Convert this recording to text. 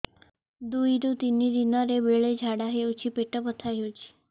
ଦୁଇରୁ ତିନି ଦିନରେ ବେଳେ ଝାଡ଼ା ହେଉଛି ପେଟ ବଥା ହେଉଛି